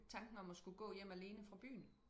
Tanken om at skulle gå hjem alene fra byen